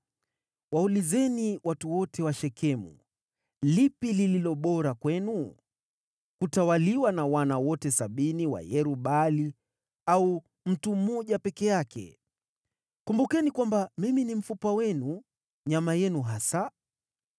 “Waulizeni watu wote wa Shekemu, ‘Lipi lililo bora kwenu: Kutawaliwa na wana wote sabini wa Yerub-Baali, au mtu mmoja peke yake?’ Kumbukeni kwamba, mimi ni mfupa wenu nyama yenu hasa.”